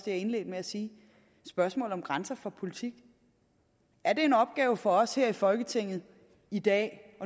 jeg indledte med at sige spørgsmålet om grænser for politik er det en opgave for os her i folketinget i dag